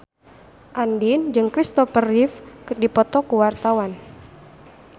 Andien jeung Christopher Reeve keur dipoto ku wartawan